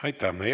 Aitäh!